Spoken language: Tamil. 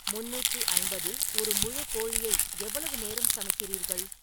முந்நூற்று ஐம்பதில் ஒரு முழு கோழியை எவ்வளவு நேரம் சமைக்கிறீர்கள்